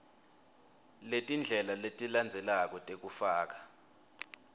letindlela letilandzelako tekufaka